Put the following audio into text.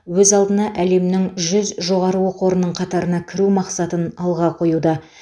өз алдына әлемнің үздік жүз жоғары оқу орнының қатарына кіру мақсатын алға қоюда